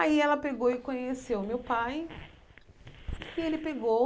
Aí ela pegou e conheceu o meu pai e ele pegou